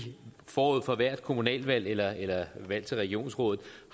forud for hvert kommunalvalg eller eller valg til regionsråd